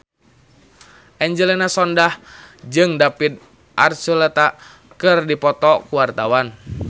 Angelina Sondakh jeung David Archuletta keur dipoto ku wartawan